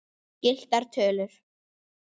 Gylltar tölur.